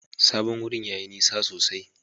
Sabon wurin yayi nisa sosai.